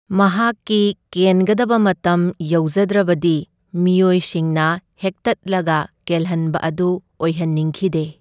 ꯃꯍꯥꯛꯀꯤ ꯀꯦꯟꯒꯗꯕ ꯃꯇꯝ ꯌꯧꯖꯗ꯭ꯔꯕꯗꯤ ꯃꯤꯑꯣꯏꯁꯤꯡꯅ ꯍꯦꯛꯇꯠꯂꯒ ꯀꯦꯜꯍꯟꯕ ꯑꯗꯨ ꯑꯣꯏꯍꯟꯅꯤꯡꯈꯤꯗꯦ꯫